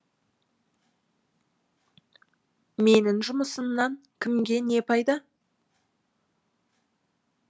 менің жұмысымнан кімге не пайда